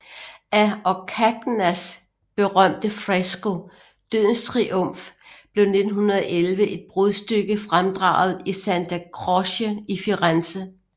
Af Orcagnas berømte fresko Dødens Triumf blev 1911 et brudstykke fremdraget i Santa Croce i Firenze